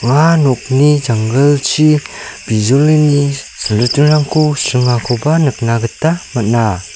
ua nokni janggilchi bijolini silritingrangko sringakoba nikna gita man·a.